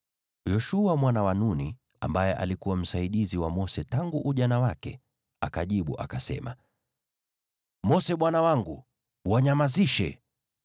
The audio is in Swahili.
Yoshua mwana wa Nuni, ambaye alikuwa msaidizi wa Mose tangu ujana wake, akajibu akasema, “Mose bwana wangu, wanyamazishe!”